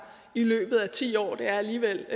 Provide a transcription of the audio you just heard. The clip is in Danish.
i løbet af ti år det er alligevel